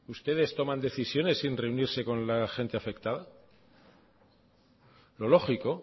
ustedes toman decisiones sin reunirse con la gente afectada lo lógico